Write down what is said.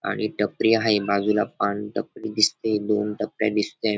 आणि टपरी आहे बाजूला पान टपरी दिसते. दोन टपऱ्या दिसते.